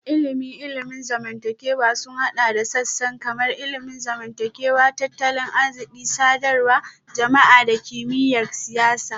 Ilimin ilimin zamantakewa sun haɗa da sassan kamar ilimin zamantakewa, tattalin arziki, sadarwar jama'a da kimiyyar siyasa